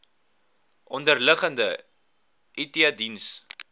onderliggende it diens